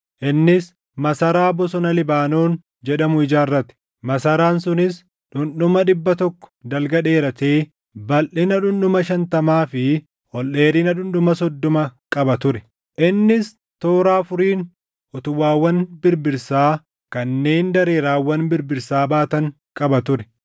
Innis Masaraa Bosona Libaanoon jedhamu ijaarrate; masaraan sunis dhundhuma dhibba tokko dalga dheeratee balʼina dhundhuma shantamaa fi ol dheerina dhundhuma soddoma qaba ture; innis toora afuriin utubaawwan birbirsaa kanneen dareeraawwan birbirsaa baatan qaba ture.